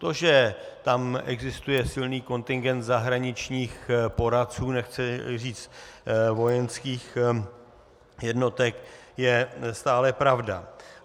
To, že tam existuje silný kontingent zahraničních poradců, nechci říct vojenských jednotek, je stále pravda.